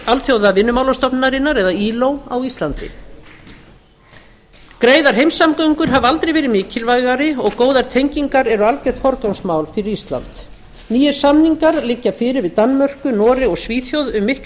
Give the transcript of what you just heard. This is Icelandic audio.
alþjóðavinnumálastofnunarinnar á íslandi greiðar heimssamgöngur hafa aldrei verið mikilvægari og góðar tengingar eru algjört forgangsmál fyrir ísland nýir samningar liggja fyrir við danmörku noreg og svíþjóð um mikla